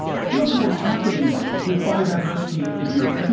Look at what's happening with biodiversity in Europe.